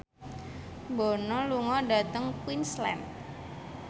Bono lunga dhateng Queensland